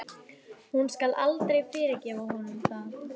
Hún skal aldrei fyrirgefa honum það.